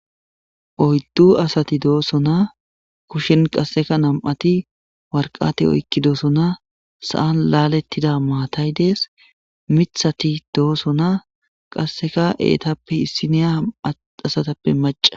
Oyddu asati dooso na kushen qasseka nam7ati warqate oykki dooso na sa7an laalettida maatay dees mithati dooso na qasseka eetappe issineya am7at asatappe maca